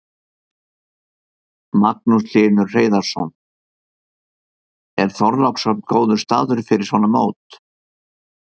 Magnús Hlynur Hreiðarsson: Er Þorlákshöfn góður staður fyrir svona mót?